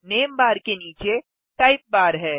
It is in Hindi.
नामे बार के नीचे टाइप बार है